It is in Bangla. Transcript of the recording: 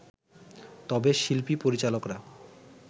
তবে শিল্পী-পরিচালকরা